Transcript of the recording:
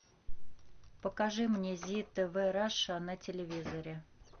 покажи мне зи тв раша на телевизоре